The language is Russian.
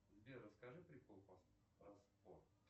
сбер расскажи прикол про спорт